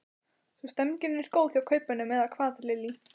Svo stemningin er góð hjá kaupmönnum eða hvað Lillý?